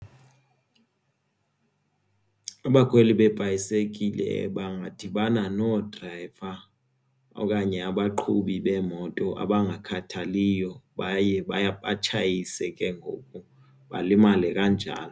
Abakhweli beebhayisekile badibana noodrayiva okanye abaqhubi beemoto abangakhathaliyo baye batshayise ke ngoku balimale kanjalo.